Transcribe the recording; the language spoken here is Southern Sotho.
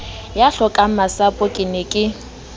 ya hlokangmasapo ke ne ke